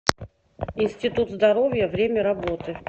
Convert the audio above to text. институт здоровья время работы